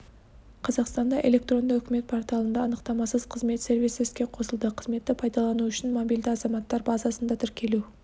қазақстанда электронды үкімет порталында анықтамасыз қызмет сервисі іске қосылды қызметті пайдалану үшін мобильді азаматтар базасында тіркелу